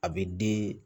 A bɛ den